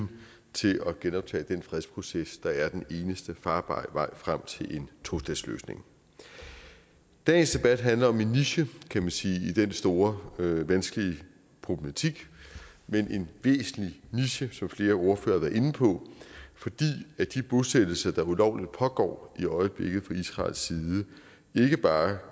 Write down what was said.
til at genoptage den fredsproces der er den eneste farbare vej frem til en tostatsløsning dagens debat handler om en niche kan man sige i den store vanskelige problematik men en væsentlig niche som flere ordførere har været inde på fordi de bosættelser der ulovligt pågår i øjeblikket fra israels side ikke bare